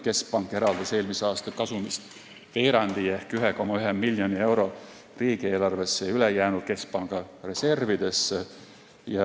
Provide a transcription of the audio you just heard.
Keskpank eraldas eelmise aasta kasumist veerandi ehk 1,1 miljonit eurot riigieelarvesse ja ülejäänu keskpanga reservidesse.